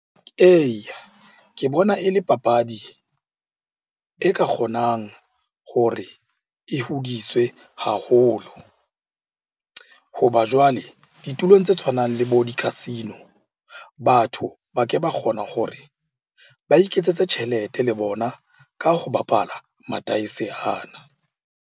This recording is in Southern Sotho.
Eya, ke bona e le papadi e ka kgonang hore e hodiswe haholo. Hoba jwale ditulong tse tshwanang le bo di-casino, batho ba ke ba kgona hore ba iketsetse tjhelete le bona ka ho bapala madaese ana.